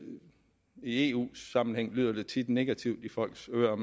eu sammenhæng lyder det tit negativt i folks ører